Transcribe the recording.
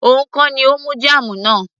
òun kọ́ ni ó mú jam náà